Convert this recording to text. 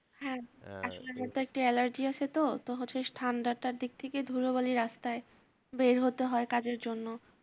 হ্যাঁ আসলে আমার একটু allergy আছে তো, তো হচ্ছে ঠান্ডাটার দিক থেকে ধুলোবালি রাস্তায় বের হতে হয় কাজের জন্য